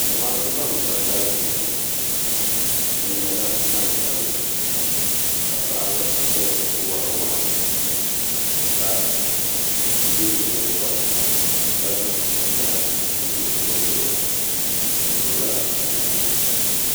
Zamaatu ban ka kanli n bɔŋɔ bi nyɛla gbansabila ka paɣaba ʒɛya n wori waa ka yɛ nyingokoriti ka zaŋ binyahari n lo bi zuɣuri bi pirila namda nima